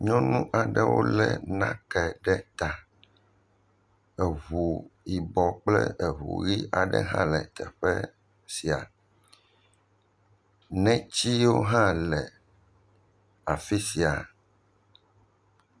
Nyɔnu aɖewo lé nake ɖe ta, eŋu yibɔ kple eŋu ʋɛ̃hã le teƒe sia, netiwo hã le afi sia.